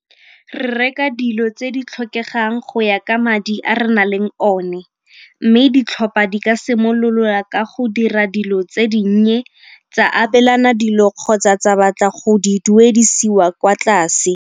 Re reka dilo tse di tlhokegang go ya ka madi a re na leng one mme ditlhopha di ka simololola ka go dira dilo tse dinnye, tsa abelana dilo kgotsa tsa batla go di duedisiwa kwa tlase.